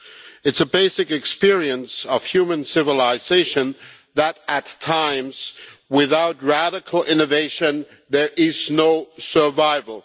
It is a basic experience of human civilization that, at times, without radical innovation there is no survival.